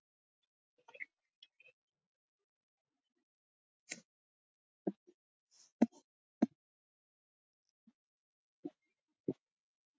Megi þau endast um aldur og ævi